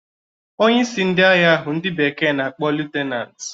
Onyeisi ndị agha ahụ ndị bekee na-akpọ liutnant